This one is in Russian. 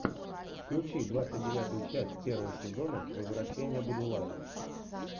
включи двадцать девятую часть первого сезона возвращение будулая